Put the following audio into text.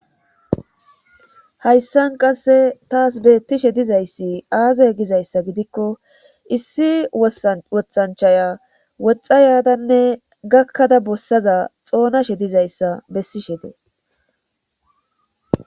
Hayssan qasse taas beettishe dizayssi aazay gizayssa gidikko issi wothanchaya woxa yadanne gakkada bossaza xoonashe dizayssa bessishe dees.